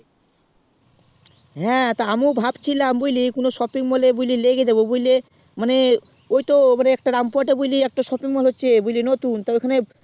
হ্যাঁ তো আমিও ভাবছিলাম যে কোনো একটা shopping moll এ লেগে যাবো বোঝলে মানে ওই তো মানে একটা rampurhat এ একটা shopping mol হচ্ছে বুঝলি নতুন তা ওখানে